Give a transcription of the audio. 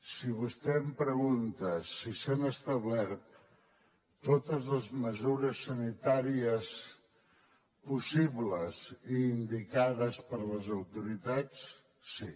si vostè em pregunta si s’han establert totes les mesures sanitàries possibles i indicades per les autoritats sí